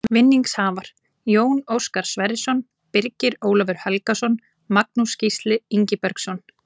Vinningshafar: Jón Óskar Sverrisson Birgir Ólafur Helgason Magnús Gísli Ingibergsson